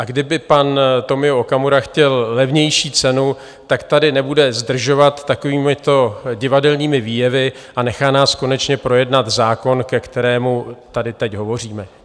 A kdyby pan Tomio Okamura chtěl levnější cenu, tak tady nebude zdržovat takovýmito divadelními výjevy a nechá nás konečně projednat zákon, ke kterému tady teď hovoříme.